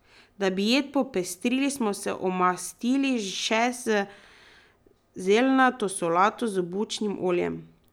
Da bi jed popestrili, smo se omastili še z zeljnato solato z bučnim oljem.